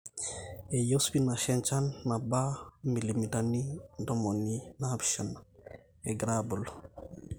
eyieu spinash enjan naba 700mm egirra aabulu